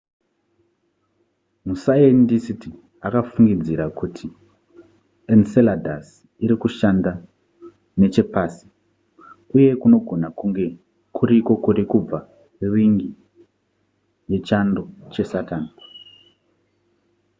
masayendisiti akafungidzira kuti enceladus iri kushanda nechepasi uye kunogona kunge kuriko kuri kubva rin'i yechando chesaturn